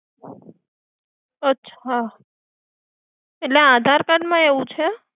અચ્છા એટલે આધાર કાર્ડમાં એવું છે.